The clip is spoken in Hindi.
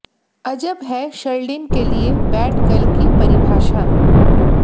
अजब है शर्लिन के लिये बैड गर्ल की परिभाषा